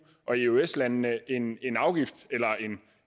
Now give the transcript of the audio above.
og eøs landene en en afgift eller